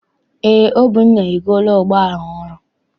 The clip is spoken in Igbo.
Eé, Obinna egoola ụgbọala ọhụrụ.